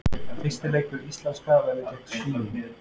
Fyrsti leikur íslenska verður gegn Svíum.